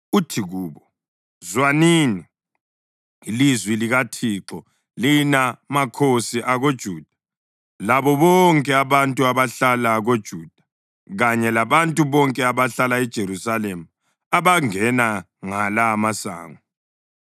Uthi kubo, ‘Zwanini ilizwi likaThixo, lina makhosi akoJuda labo bonke abantu abahlala koJuda kanye labantu bonke abahlala eJerusalema abangena ngala amasango.